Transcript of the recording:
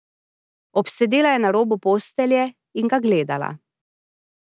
Obsedela je na robu postelje in ga gledala.